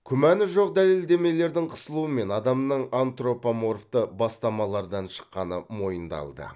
күмәні жоқ дәлелдемелердің қысылуымен адамның антропоморфты бастамалардан шыққаны мойындалды